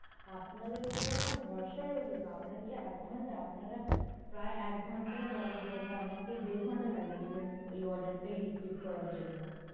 আপনাদের ওপর আমার ভরসা রইল না, আপনারা কি আদ ঘণ্টা আপনারা প্রায় এক ঘণ্টা বলার জায়গায় আমাকে দেড় ঘণ্টা লাগিয়েছিলেন এই order টাই receive করার জন্য।